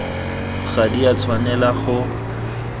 ga di a tshwanelwa go